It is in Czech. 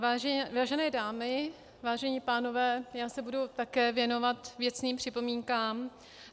Vážené dámy, vážení pánové, já se budu také věnovat věcným připomínkám.